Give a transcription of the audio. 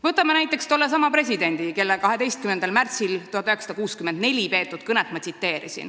Võtame näiteks tollesama presidendi, kelle 12. märtsil 1964 peetud kõnet ma tsiteerisin.